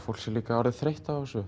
fólk sé líka orðið þreytt á þessu